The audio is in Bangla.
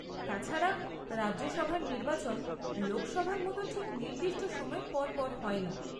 তাছাড়া, রাজ্যসভার নির্বাচন লোকসভার মতো ঠিক নির্দিষ্ট সময়ে পর পর হয় না।